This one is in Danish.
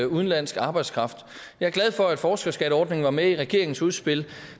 udenlandsk arbejdskraft jeg er glad for at forskerskatteordningen var med i regeringens udspil